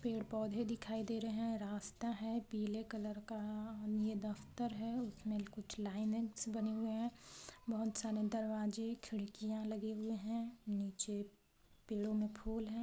पेड़-पौधे दिखाई दे रहे हैं रास्ता हैं पीले कलर का और ये दफ्तर हैं उसमें कुछ लाइनेन्स बने हुए हैं बहोत सारे दरवाजे खिड़कियां लगे हुए हैं नीचे पेड़ों में फूल हैं।